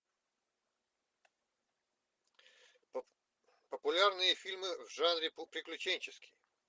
популярные фильмы в жанре приключенческий